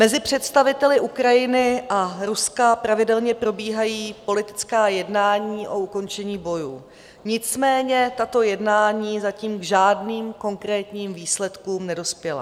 Mezi představiteli Ukrajiny a Ruska pravidelně probíhají politická jednání o ukončení bojů, nicméně tato jednání zatím k žádným konkrétním výsledkům nedospěla.